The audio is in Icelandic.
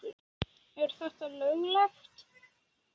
Er þetta löglegt??!!